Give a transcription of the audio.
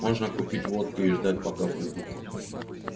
можно купить водки и ждать пока придут